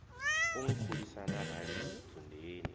u nkhulisa na rali dzundeni